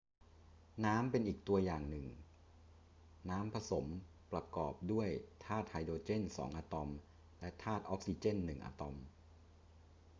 น้ำเป็นอีกตัวอย่างหนึ่ง น้ำผสมมประกอบด้วยธาตุไฮโดรเจนสองอะตอมและธาตุออกซิเจนหนึ่งอะตอม